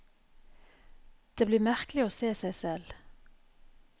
Det blir merkelig å se seg selv.